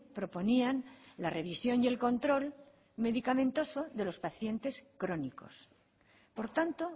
proponían la revisión y el control medicamentoso de los pacientes crónicos por tanto